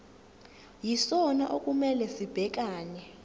yisona okumele sibhekane